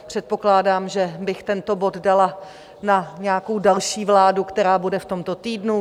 Předpokládám, že bych tento bod dala na nějakou další vládu, která bude v tomto týdnu.